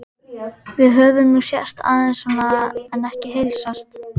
Við höfum nú sést aðeins svona en ekki heilsast.